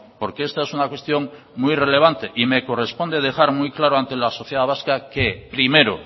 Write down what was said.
porque esta es una cuestión muy relevante y me corresponde dejar muy claro ante la sociedad vasca que primero